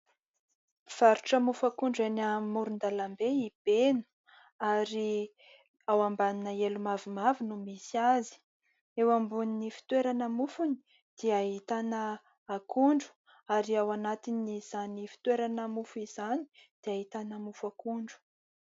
Mivarotra mofo akondro eny amorondalam-be i Beno ary ao ambanina elo mavomavo no misy azy ; eo ambonin'ny fitoerana mofony dia ahitana akondro ary ao anatin'izany fitoerana mofo izany dia ahitana mofo akondro.